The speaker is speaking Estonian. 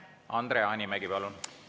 Andre Hanimägi, palun!